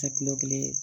Ka kilo kelen